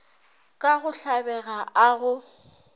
ka go tlabega a go